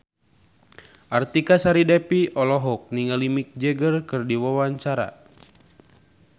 Artika Sari Devi olohok ningali Mick Jagger keur diwawancara